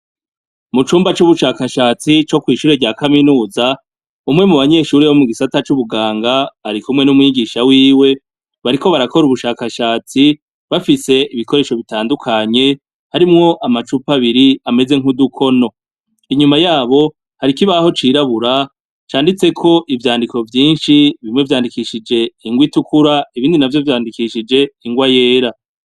MUcumba c' ubushakashatsi co kw' ishure rya kaminuza, umwe mu banyeshure bo mugisata c' ubugang' arikumwe n' umwigisha wiwe bariko barakor' ubushakashatsi bafis' ibikoresho bitandukanye , harimw'amacup' abir' ameze nkudukono, inyuma yaho har' ikibaho cirabura canditsek' ivyandiko vyinshi, bimwe vyandikishij' ingw' itukur' ibindi navyo vyandikishij' ingwa yera.